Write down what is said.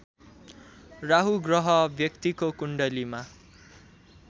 राहु ग्रह व्यक्तिको कुण्डलीमा